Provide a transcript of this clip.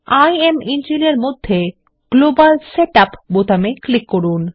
ইমেনজিন এর মধ্যে global setup বোতামে ক্লিক করুন